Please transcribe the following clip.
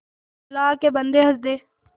अल्लाह के बन्दे हंस दे